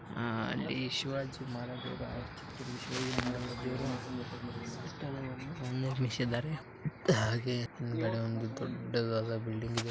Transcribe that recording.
ಹಿಂದ ಸೈಕಲ್ಸ್ ಆದವ್ ರಿಕ್ಷಾ ಐತಿ ಸೈಡಲ್ಲ ಬಿಲ್ಡಿಂಗ್ ಅದಾವ ಸೆಂಟರ ಊರಾಗ ಅದಾ ಪೆಟ್ರೋಲ್ ಪಂಪ್ ಹಿಂದ ಒಂದು ಯೆಸ್ಟ್ ಚಂದಗಿ ಬೋರ್ಡ್ ಹಚ್ಚ್ಯಾರ್ ದೊಡ್ಡ ಅಲ್ಲೊಂದು ಕಾರ ಗಾಡಿ ಐತಿ